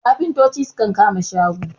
kafintoci sukan kama shago